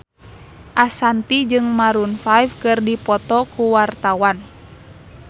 Ashanti jeung Maroon 5 keur dipoto ku wartawan